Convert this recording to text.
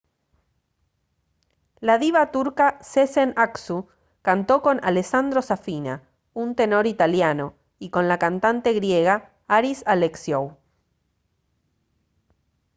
la diva turca sezen aksu cantó con alessandro safina un tenor italiano y con la cantante griega haris alexiou